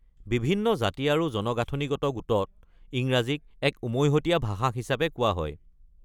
বিভিন্ন জাতি আৰু জনগাঁথনিগত গোটত ইংৰাজীক এক উমৈহতীয়া ভাষা হিচাপে কোৱা হয়।